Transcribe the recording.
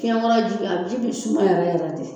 Fiɲɛ kɔrɔji a ji bi suma yɛrɛ yɛrɛ de